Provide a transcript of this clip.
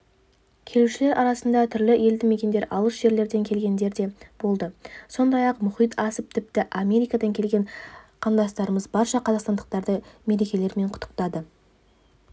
келушілер арасында түрлі елді мекендер алыс жерлерден келгендер де болды сондай-ақ мұхит асып тіпті америкадан келген қандастарымыз барша қазақстандықтарды мерекелерімен құттықтады